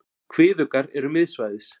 Kviðuggar eru miðsvæðis.